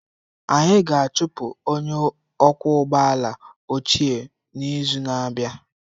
Anyị ga-achụpụ onye ọkwọ ụgbọ ala ochie n'izu na-abịa